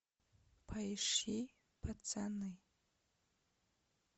поищи пацаны